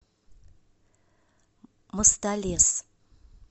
мостолес